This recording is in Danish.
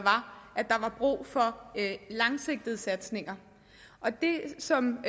at der var brug for langsigtede satsninger det som